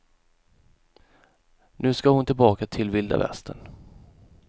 Nu ska hon tillbaka till vilda västern.